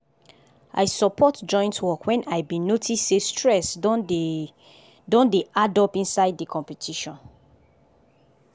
i support joint work when i been notice say stress don dey don dey addup inside the competition.